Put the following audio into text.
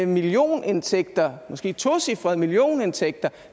millionindtægter måske tocifrede millionindtægter